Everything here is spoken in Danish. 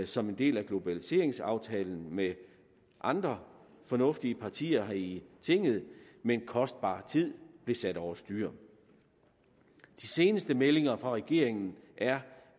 som en del af globaliseringsaftalen med andre fornuftige partier her i tinget men kostbar tid blev sat over styr de seneste meldinger fra regeringen er